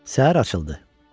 Səhər açıldı.